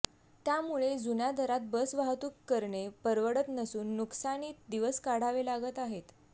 त्यामुळे जुन्या दरात बस वाहतूक करणे परवडत नसून नुकसानीत दिवस काढावे लागत आहेत